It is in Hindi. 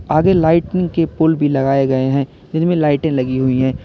आगे लाइटनिंग के पोल भी लगाए गए है जिनमे लाइटें लगी हुई है।